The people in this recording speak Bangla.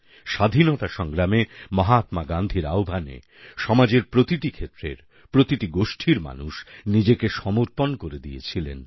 স্বাধীনতা সংগ্রামে মহাত্মা গান্ধীর আহ্বানে সমাজের প্রতিটি ক্ষেত্রের প্রতিটি গোষ্ঠীর মানুষ নিজেকে সমর্পণ করে দিয়েছিলেন